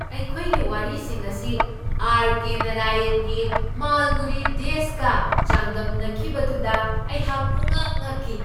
ꯑꯩꯈꯣꯏꯒꯤ ꯋꯥꯔꯤꯁꯤꯡ ꯑꯁꯤ ꯑꯥꯔ ꯀꯦ ꯅꯥꯔꯥꯌꯟꯒꯤ ꯃꯥꯜꯒꯨꯔꯤ ꯗꯦꯁꯀ ꯆꯥꯡꯗꯝꯅꯈꯤꯕꯗꯨꯗ ꯑꯩꯍꯥꯛ ꯄꯨꯝꯉꯛ ꯉꯛꯈꯤ꯫